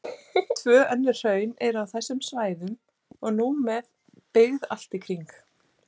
Tvö önnur hraun eru á þessum svæðum og nú með byggð allt í kring.